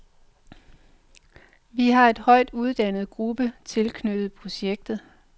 Vi har en højt uddannet gruppe tilknyttet projektet.